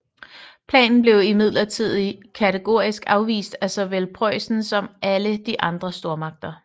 Planen blev imidlertid kategorisk afvist af såvel Preussen som alle de andre stormagter